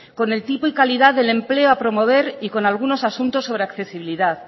con el tipo y calidad del empleo a promover y con algunos asuntos sobre accesibilidad